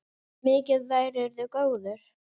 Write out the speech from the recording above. Mikið værirðu góður.